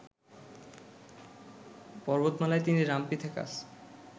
পর্বতমালায় তিনি রামপিথেকাস